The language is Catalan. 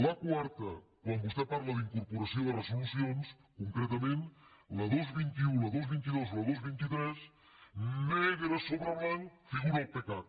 la quarta quan vostè parla d’incorporació de resolucions concretament la dos cents i vint un la dos cents i vint dos i la dos cents i vint tres negre sobre blanc figura al pecac